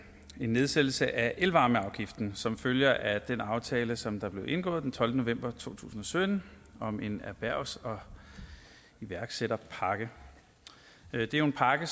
nedsættelse af elvarmeafgiften som følger af den aftale som blev indgået den tolvte november to tusind og sytten om en erhvervs og iværksætterpakke det er jo en pakke